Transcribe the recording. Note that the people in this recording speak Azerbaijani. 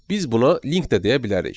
Biz buna link də deyə bilərik.